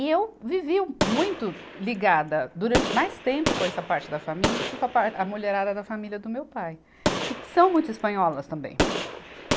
E eu vivi muito ligada durante mais tempo com essa parte da família do que com a par, a mulherada da família do meu pai, que são muito espanholas também.